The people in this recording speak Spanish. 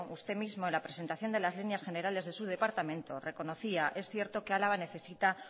usted mismo en la presentación de las líneas generales de su departamento reconocía es cierto que álava necesita